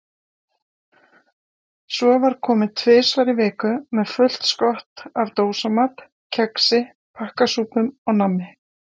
Svo var komið tvisvar í viku með fullt skott af dósamat, kexi, pakkasúpum og nammi.